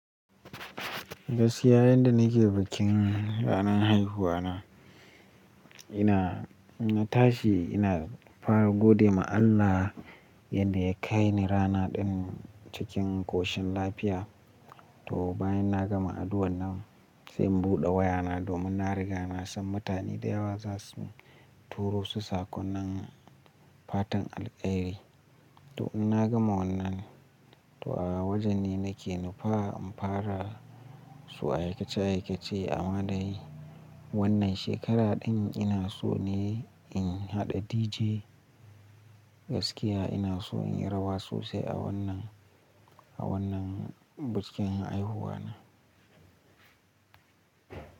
Gaskiya yadda na ke bikin ranar haihuwa na, ina in tashi ina fara gode ma Allah yadda ya kai ni rana din cikin ƙoshin lafiya. To bayan na gama addu'ar nan sai in buɗe wayana domin na riga na san mutane da yawa za su turo su sakonnan fatan alƙairi. To in na gama wannan, to a wajene na ke nufa in fara su aikace aikace amma dai wannan shekara din ina so ne in haɗa DJ. Gaskiya ina so in yi rawa sosai a wannan, a wannan bikin haihuwa na.